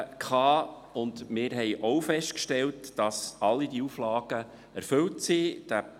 Wir haben festgestellt, dass alle Auflagen erfüllt sind.